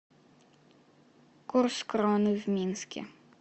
курс кроны в минске